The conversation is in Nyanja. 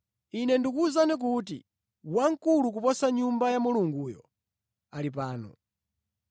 Ine ndikuwuzani kuti wamkulu kuposa Nyumba ya Mulunguyo ali pano.